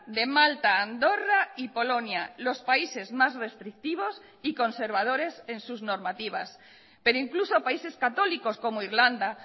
de malta andorra y polonia los países más restrictivos y conservadores en sus normativas pero incluso países católicos como irlanda